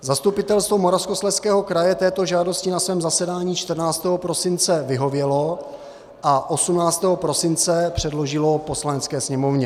Zastupitelstvo Moravskoslezského kraje této žádosti na svém zasedání 14. prosince vyhovělo a 18. prosince předložilo Poslanecké sněmovně.